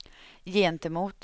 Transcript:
gentemot